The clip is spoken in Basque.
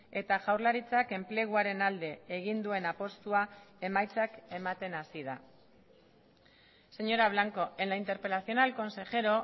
eta jaurlaritzak enpleguaren alde egin duen apustua emaitzak ematen hasi da señora blanco en la interpelación al consejero